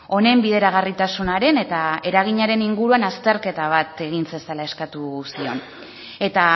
honen bideragarritasunaren eta eraginaren inguruan azterketa bat egin zezala eskatu zion eta